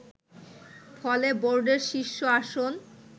ফলে বোর্ডের শীর্ষ আসন